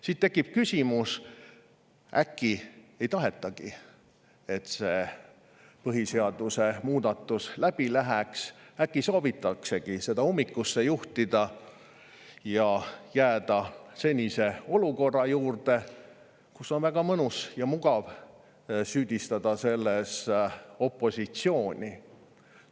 Siis tekib küsimus, äkki ei tahetagi, et see põhiseaduse muudatus läbi läheks, äkki soovitaksegi seda ummikusse juhtida ja jääda senise olukorra juurde, ning siis on väga mõnus ja mugav süüdistada selles opositsiooni.